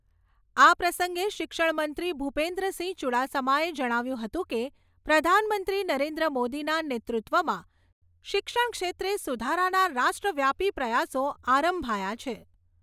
આ પ્રસંગે શિક્ષણ મંત્રી ભૂપેન્દ્રસિંહ ચૂડાસમાએ જણાવ્યું હતું કે, પ્રધાનમંત્રી નરેન્દ્ર મોદીના નેતૃત્વમાં શિક્ષણ ક્ષેત્રે સુધારાના રાષ્ટ્રવ્યાપી પ્રયાસો આરંભાયા છે.